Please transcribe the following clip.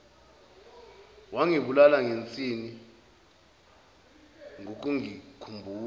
wangibulala ngensini ngokungikhumbuza